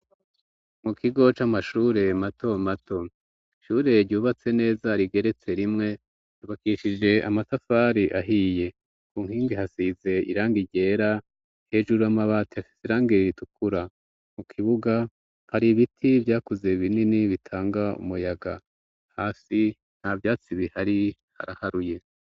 mu kigo c'amashure mato mato ishure ryubatse neza rigeretse rimwe ryubakishije amatafari ahiye ku nkingi hasize iranga igera hejuru amabati afisirange r ritukura mu kibuga hari ibiti byakuze binini bitanga umuyaga hasi nta vyatsi bihari haraharuye